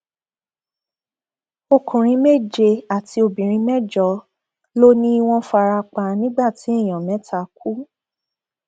ọkùnrin méje àti obìnrin mẹjọ ló ní wọn fara pa nígbà tí èèyàn mẹta kú